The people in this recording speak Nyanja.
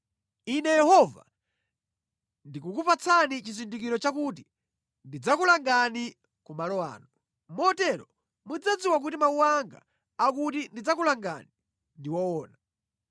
“Ine Yehova ndikukupatsani chizindikiro chakuti ndidzakulangani ku malo ano. Motero mudzadziwa kuti mawu anga akuti ndidzakulangani ndi woona.